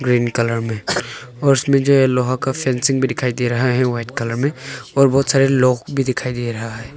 Green colour में और इसमें जो लोहा का फेसिंग दिखाई दे रहा है वाइट कलर में और बहुत सारे लोग भी दिखाई दे रहा है।